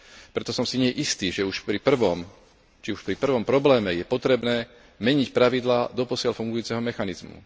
Preto som si nie istý, či už pri prvom probléme je potrebné meniť pravidlá doposiaľ fungujúceho mechanizmu.